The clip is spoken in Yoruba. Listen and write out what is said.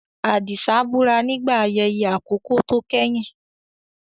Adisa búra nígbà ayẹyẹ àkọ́kọ́ tó kẹ́yìn.